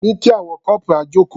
Ní kí àwọn corporal jókòó.